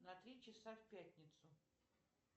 на три часа в пятницу